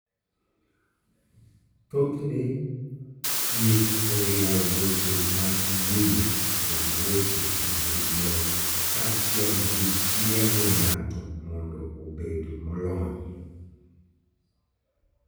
Thothne, thieth oriwo weche mag wuoyo kod weche mag dwol kaachiel gi tiego ng'ato mondo obed molony.